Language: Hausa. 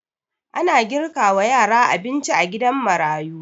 Ana girka wa yara abinci a gidan marayu